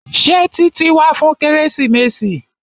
Ṣé Títí wá fún kérésìmesì?